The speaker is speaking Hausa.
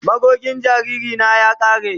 Magogin jariri na ya kare.